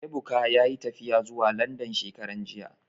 Ebuka yayi tafiya zuwa Landan shekaran jiya